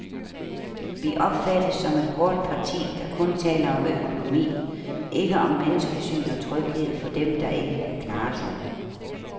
Vi opfattes som et hårdt parti, der kun taler om økonomi, ikke om menneskesyn og tryghed for dem, der ikke kan klare sig.